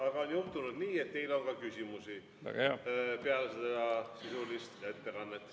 Aga on juhtunud nii, et teile on ka küsimusi peale seda sisulist ettekannet.